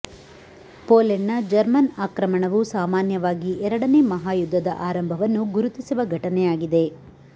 ಪೋಲೆಂಡ್ನ German ಆಕ್ರಮಣವು ಸಾಮಾನ್ಯವಾಗಿ ಎರಡನೇ ಮಹಾಯುದ್ಧದ ಆರಂಭವನ್ನು ಗುರುತಿಸುವ ಘಟನೆಯಾಗಿದೆ